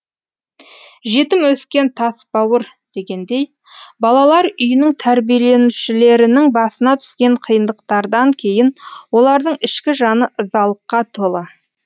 жетім өскен тас бауыр дегендей балалар үйінің тәрбиеленушілерінің басына түскен қиындықтардан кейін олардың ішкі жаны ызалыққа толы